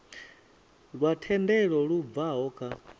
lwa thendelo lu bvaho kha